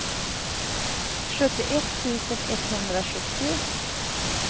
sjuttioett tusen etthundrasjuttio